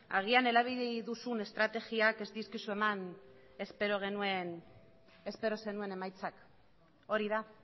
agian erabili duzun estrategiak ez dizkizu eman espero zenuen emaitzak hori da